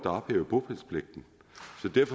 ophævede bopælspligten